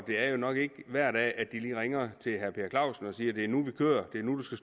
det er nok ikke hver dag at de lige ringer til herre per clausen og siger det er nu vi kører det er nu du